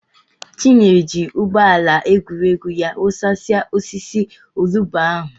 Chinyere ji ụgbọ ala egwuregwu ya wụsasịa osisi olugbu ahụ.